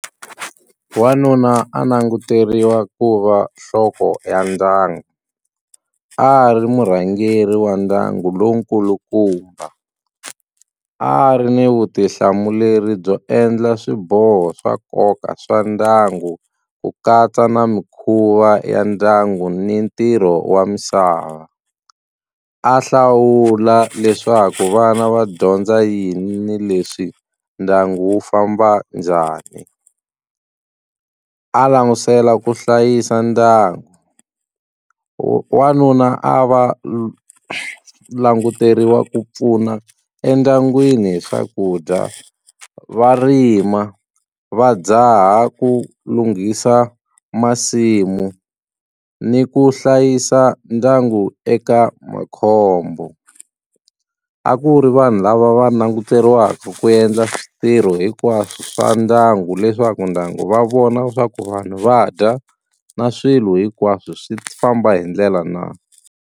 Wanuna a languteriwa ku va nhloko ya ndyangu a ri murhangeri wa ndyangu lowu nkulukumba a ri ni vutihlamuleri byo endla swiboho swa nkoka swa ndyangu ku katsa na mikhuva ya ndyangu ni ntirho wa misava a hlawula leswaku vana va dyondza yini leswi ndyangu wu famba njhani a langusela ku hlayisa ndyangu, wanuna a va languteriwa ku pfuna endyangwini hi swakudya va rima va dzaha ku lunghisa masimu ni ku hlayisa ndyangu eka makhombo a ku ri vanhu lava va languteriwaka ku endla ntirho hinkwaswo swa ndyangu leswaku ndyangu va vona swa ku vanhu va dya na swilo hinkwaswo swi famba hi ndlela na.